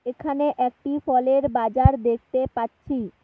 এখানে একটি ফলের বাজার দেখতে পাচ্ছি।